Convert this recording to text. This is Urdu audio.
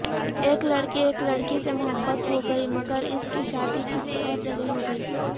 ایک لڑکے ایک لڑکی سے محبت ہوگئی مگراسکی شادی کسی اورجگہ ہوگئی